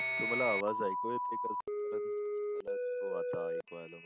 तुम्हाला आवाज ऐकू येतंय का? हो आता ऐकू आला मला.